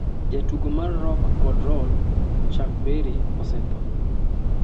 Jatugo mar rock kod roll Chuck Berry osetho